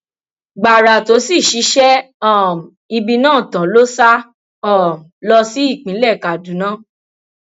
gbàrà tó sì ṣiṣẹ um ibi náà tán ló sá um lọ sí ìpínlẹ kaduna